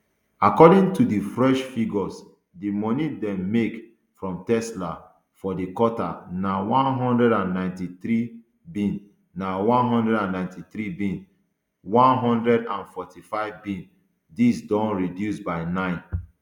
according to di fresh figures di moni dem make from tesla for di quarter na one hundred and ninety-threebn na one hundred and ninety-threebn one hundred and forty-fivebn dis don reduce by nine